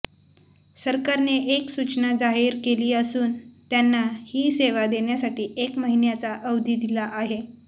सरकारने एक सूचना जाहीर केली असून त्यांना ही सेवा देण्यासाठी एक महिन्याचा अवधी दिला आहे